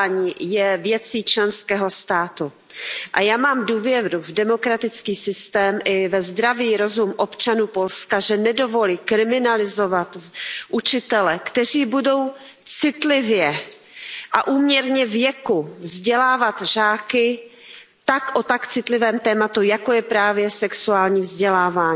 Pane předsedající, obsah vzdělávání je věcí členského státu. A já mám důvěru v demokratický systém i ve zdravý rozum občanů Polska, že nedovolí kriminalizovat učitele, kteří budou citlivě a úměrně věku vzdělávat žáky o tak citlivém tématu, jako je právě sexuální vzdělávání.